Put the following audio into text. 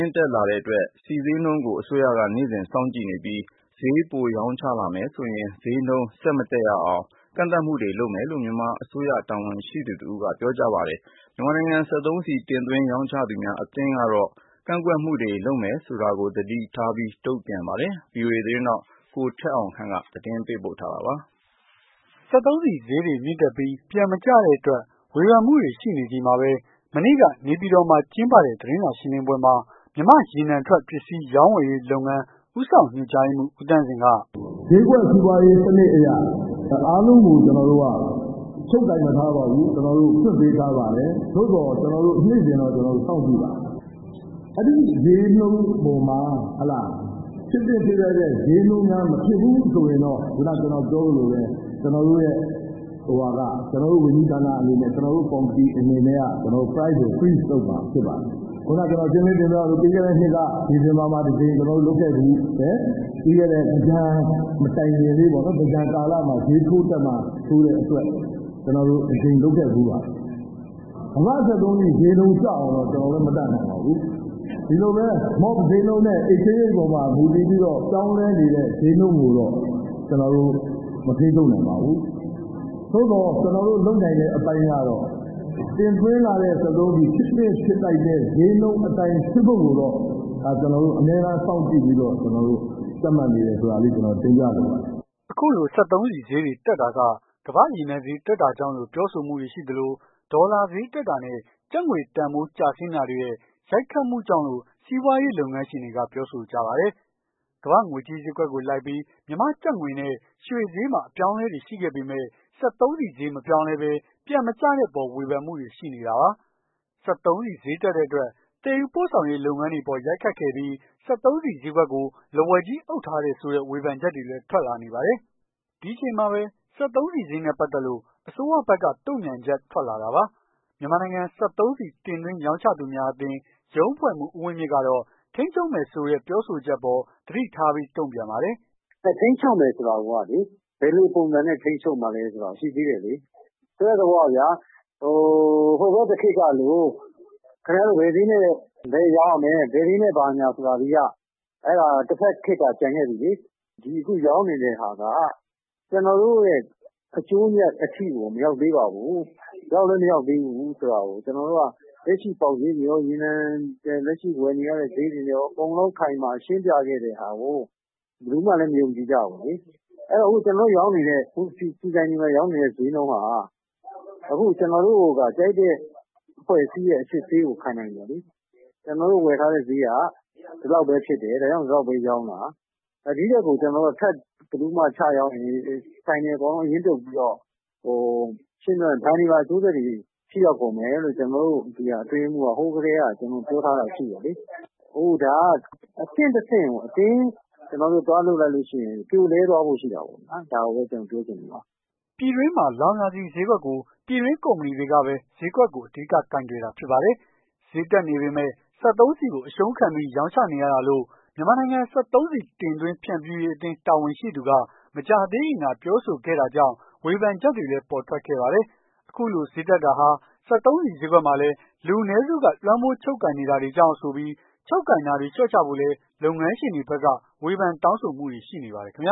င့်တက်လာတဲ့အတွက် နေ့စဉ် ဆီဈေးနှုန်းတွေကို အစိုးရက စောင့်ကြည့်နေပြီး ဈေးပိုရောင်းချလာမယ်ဆိုရင် ဈေးနှုန်းကို ဆက်မတက်အောင် ကန့်သတ်မှုတွေ လုပ်မယ်လို့ မြန်မာ အစိုးရတာဝန်ရှိသူတဦးက ပြောပါတယ်။ မြန်မာနိုင်ငံစက်သုံးဆီတင်သွင်းရောင်းချသူများအသင်း ကတော့ ကန့်သတ်မှုတွေ လုပ်မယ်ဆိုတာကို သတိထားပြီး တုန့်ပြန်ပါတယ်။ VOA သတင်းထောက် ကိုထက်အောင်ခန့်က သတင်းပေးပို့ထားပါတယ်။ စက်သုံးဆီဈေးမြင့်တက်ပြီး ပြန်မကျတဲ့အတွက် ဖေဝန်မှုတွေ ရှိနေချိန်မှာပဲ မနေ့က နေပြည်တော်မှာ ကျင်းပတဲ့ သတင်းစာရှင်းလင်းပွဲမှာ မြန်မာ့ရေနံထွက် ပစ္စည်းရောင်းဝယ်ရေးလုပ်ငန်း ဦးဆောင် ညွှန်ကြားရေးမှူး ဦးသန့်ဇင်က "ဈေးကွက်စီးပွားရေးစနစ်အရ အားလုံးကို ကျနော်တို့ ချုပ်ကိုင်မထားပါဘူး။ ကျနော်တို့ ဖွင့်ပေးထား ပါတယ်။ သို့သော် နေ့စဉ်တော့ စောင့်ကြည့်ပါတယ်။ အဲ့ဒီဈေးနှုန်းအပေါ်မှာ ဖြစ်သင့်ဖြစ်ထိုက်တဲ့ ဈေးနှုန်းများ မဖြစ်ဘူးဆိုရင်တော့ ခုနက ပြောသလိုပဲ ကျနော်တို့ ဝန်ကြီးဌာနအနေနဲ့ ကျနော်တို့ ကော်မတီအနေနဲ့က Price ကို Freeze လုပ်မှာဖြစ်ပါတယ်။ ခုနက ကျနော် ရှင်းလင်းတင်ပြသလို ပြီးခဲ့တဲ့နှစ်က ဒီဇင်ဘာမှာ တကြိမ် လုပ်ခဲ့ဖူးတယ်။ ပြီးခဲ့တဲ့ သင်္ကြန်မတိုင်ခင်လေးပေါ့။ သင်္ကြန် ကာလမှာ ဈေးထိုးတက်မှာစိုးတဲ့အတွက် ကျနော်တို့ တကြိမ်လုပ်ခဲ့ဖူးပါတယ်။ ကမ္ဘာ့ စက်သုံးဆီဈေး ကျအောင်တော့ ကျနော်လည်း မတတ်နိုင်ပါဘူး။ ဒီလိုပဲ ဈေးနှုန်းနဲ့ Exchange Rate အပေါ်မှာ မူတည်ပြီးတော့ ပြောင်းလဲနေတဲ့ဈေးနှုန်းကိုတော့ ကျနော်တို့ မထိန်းချုပ်နိုင်ပါဘူး။ သို့သော် ကျနော်တို့ လုပ်နိုင်တဲ့အပိုင်းကတော့ တင်သွင်းလာတဲ့ စက်သုံးဆီ ဖြစ်သင့်ဖြစ်ထိုက်တဲ့ ဈေးနှုန်း အတိုင်းဖြစ်ဖို့ကိုတော့ ကျနော်တို့ အမြဲတမ်း စောင့်ကြည့်ပြီးတော့ ကြပ်မတ်နေတယ်ဆိုတာလေး တင်ပြလိုပါတယ်။" အခုလို စက်သုံးဆီဈေးတွေ တက်တာက ကမ္ဘာ့ရေနံဈေး တက်လာတာကြောင့်လို့ ပြောဆိုမှုတွေ ရှိသလို ဒေါ်လာဈေးတက်တာနဲ့ ကျပ်ငွေတန်ဖိုး ကျဆင်းတာတွေရဲ့ ရိုက်ခတ်မှုကြောင့်လို့ စီးပွားရေး လုပ်ငန်းရှင်တွေက ပြောဆိုကြပါတယ်။ ကမ္ဘာ့ငွေကြေးဈေးကွက်ကို လိုက်ပြီး မြန်မာကျပ်ငွေနဲ့ ရွှေဈေးမှာ အပြောင်းအလဲတွေ ရှိခဲ့ပေမဲ့ စက်သုံးဆီဈေး မပြောင်းလဲဘဲ ပြန်မကျတဲ့အပေါ် ဝေဖန် မှုတွေ ရှိနေတာပါ။ စက်သုံးဆီဈေးတက်တဲ့အတွက် သယ်ယူပို့ဆောင်ရေးလုပ်ငန်းတွေအပေါ် ရိုက်ခတ်ခဲ့ပြီး စက်သုံးဆီဈေးကွက်ကို လက်ဝါးကြီးအုပ်ထားတယ်ဆိုတဲ့ ဝေဖန်ချက်တွေလည်း ထွက်လာနေပါတယ်။ဒီအချိန်မှာပဲ စက်သုံးဆီဈေးနဲပတ်သက်လို့ အစိုးရဘက်က တုန့်ပြန်ချက် ထွက်လာတာပါ။ မြန်မာနိုင်ငံစက်သုံးဆီတင်သွင်းရောင်းချသူများအသင်း ရုံးအဖွဲ့မှူး ဦးဝင်းမြင့် ကတော့ ထိန်းချုပ်မယ်ဆိုတဲ့ ပြောဆိုချက်အပေါ် သတိထားပြီး တုန့်ပြန်ပါတယ်။ "ထိန်းချုပ်မယ်ဆိုတာကိုက ဘယ်လိုပုံစံနဲ့ ထိန်းချုပ်မှာလည်းဆိုတာ ရှိသေးတယ်လေ။ ဆိုလိုတဲ့ သဘောကဗျာ။ ဟိုဘက်တခေတ်ကလို ခင်ဗျားတို့ ဘယ်ဈေးနဲ့ပဲရောင်းရမယ်။ ဘယ်ဈေးနဲ့ ဘာညာ ဆိုတာတွေက အဲ့ဒါတဖက်ခေတ်က ကျန်ခဲ့ပြီလေ။ ဒီအခုရောင်းနေတဲ့ဟာက ကျနော်တို့ အကျိုးအမြတ် အထိကို မရောက်သေးပါဘူး။ ရောက်လည်း မရောက်သေးဘူးဆိုတာကို လက်ရှိ ပေါက်ဈေးတွေကော ရေနံလက်ရှိဝယ်နေရတဲ့ ဈေးတွေနဲ့ ကော အခိုင်အမာ ရှင်းပြခဲ့တဲ့ဟာကို ဘယ်သူမှလည်း မယုံကြည်ကြဘူး။ အခု ကျနော်တို့ရောင်းနေတဲ့ ဆီဆိုင်တွေမှာရောင်းနေတဲ့ ဈေးနှုန်းဟာ အခု ကျနော်တို့က ကြိုက်တဲ့ အဖွဲ့အစည်းရဲ့ အစစ်ဆေးကို ခံနိုင်တယ်လေ။ ကျနော်တို့ ဝယ်ထားတဲ့ဈေးက ဒီလောက်ပဲဖြစ်တယ်။ ဒါကြောင့် ဒီလောက်ပဲရောင်းတာ။ ဒီထက်ကို ချရောင်းရင် ဆိုင်တွေအကုန်လုံး အရင်းပြုတ်ပြီးတော့ ဘဏ်တွေပါ အကျိုးဆက်တွေ ထိရောက်ကုန် မယ်လို့ ကျနော်တို့ အတွင်းရေးမှူးက ဟိုးကတည်းက ပြောထားတာရှိတယ်လေ။ ခုနကပြောသလိုပေါ့ အဆင့်တဆင့်ကို အတင်းသွားလုပ်လိုက်ရင် ပြိုလဲသွားဖို့ ရှိတာပေါ့။ ဒါကို ကျနော်တို့ ပြောချင်တာ။" ပြည်တွင်းမှာလောင်စာဆီဈေးကွက်ကို ပြည်တွင်းကုမ္ပဏီတွေကပဲဈေးကွက်ကို အဓိက ကိုင်တွယ် ထားတာ ဖြစ်ပါတယ်။ ဈေးတက်နေပေမယ့် စက်သုံးဆီကိုအရှုံးခံပြီး ရောင်းချ နေရတာလို့ မြန်မာနိုင်ငံ စက်သုံးဆီတင်သွင်းဖြန့်ဖြူးရေးအသင်း တာဝန်ရှိသူက မကြာသေးခင်က ပြောဆိုခဲ့ တာကြောင့် ဝေဖန်ချက်တွေလည်း ပေါ်ထွက်ခဲ့ပါတယ်။ ဒီလို ဈေးတက်နေတာဟာ စက်သုံးဆီဈေး ကွက်မှာ လူနည်းစုကလွှမ်းမိုးချုပ်ကိုင် နေတာတွေကြောင့် ဆိုပြီး ချုပ်ကိုင်ထားတာကို လျှော့ချဖို့ လည်း လုပ်ငန်းရှင်တွေဘက်က ဝေဖန်တောင်းဆိုမှုတွေ ရှိနေပါတယ်ခင်ဗျ